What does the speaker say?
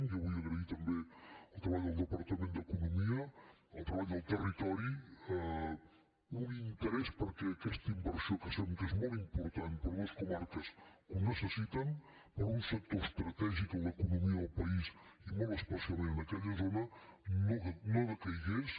jo vull agrair també el treball del departament d’economia el treball del territori un interès perquè aquesta inversió que sabem que és molt important per a unes comarques que ho necessiten per a un sector estratègic en l’economia del país i molt especialment en aquella zona no decaigués